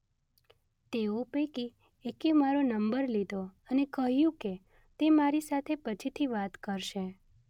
તેઓ પૈકી એકે મારો નંબર લીધો અને કહ્યું કે તે મારી સાથે પછીથી વાત કરશે